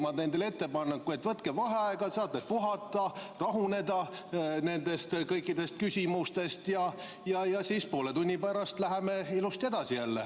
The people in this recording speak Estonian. Ma teen teile ettepaneku, et võtke vaheaeg, saate puhata, rahuneda kõikidest nendest küsimustest, ja siis poole tunni pärast läheme ilusti edasi jälle.